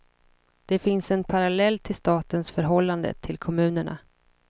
Det finns en parallell till statens förhållande till kommunerna.